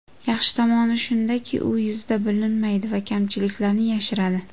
Yaxshi tomoni shundaki, u yuzda bilinmaydi va kamchiliklarni yashiradi.